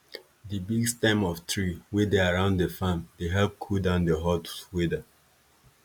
di big stem of tree wey dey around di farm dey help cool down di hot weather